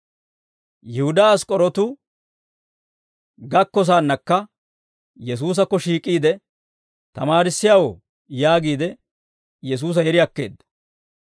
Yihudaa Ask'k'orootu gakkosaannakka Yesuusakko shiik'iide, «Tamaarissiyaawoo» yaagiide Yesuusa yeri akkeedda.